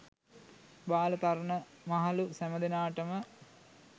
බාල, තරුණ මහලු සැමදෙනාට ම